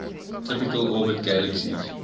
typically orbit galaxies